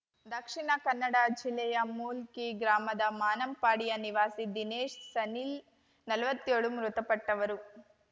ದಕ್ಷಿಣಕನ್ನಡ ಜಿಲ್ಲೆಯ ಮೂಲ್ಕಿ ಗ್ರಾಮದ ಮಾನಂಪಾಡಿಯ ನಿವಾಸಿ ದಿನೇಶ್‌ ಸನಿಲ್‌ನಲ್ವತ್ತೇಳು ಮೃತಪಟ್ಟವರು